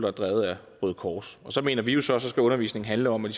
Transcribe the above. er drevet af røde kors og så mener vi jo at så skal undervisningen handle om at